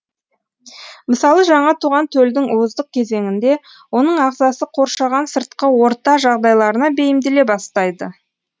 мысалы жаңа туған төлдің уыздық кезеңінде оның ағзасы қоршаған сыртқы орта жағдайларына бейімделе бастайды